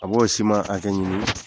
A b'o siman hakɛ ɲini,